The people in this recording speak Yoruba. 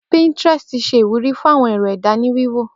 Pinterest ṣẹ iwúrí fún awọn èrò ẹda ni wíwò.